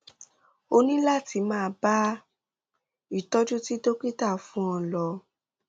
o ní láti máa bá ìtọjú tí dókítà fún ọ lọ